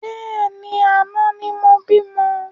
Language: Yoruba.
Bẹ́ẹ̀ni, àná ni mo bímọ